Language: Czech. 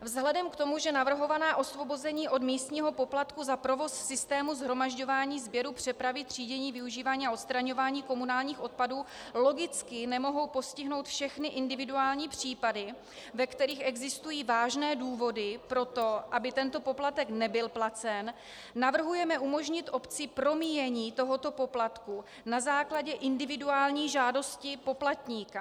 Vzhledem k tomu, že navrhovaná osvobození od místního poplatku za provoz systému shromažďování, sběru, přepravy, třídění, využívání a odstraňování komunálních odpadů logicky nemohou postihnout všechny individuální případy, ve kterých existují vážné důvody pro to, aby tento poplatek nebyl placen, navrhujeme umožnit obci promíjení tohoto poplatku na základě individuální žádosti poplatníka.